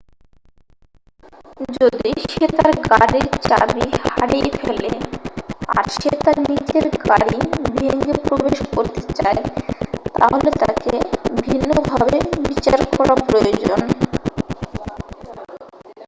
যদি সে তার গাড়িব চাবি হারিয়ে ফেলে আর সে তার নিজের গাড়ি ভেঙে প্রবেশ করতে চায় তাহলে তাকে ভিন্নভাবে বিচার করা প্রয়োজন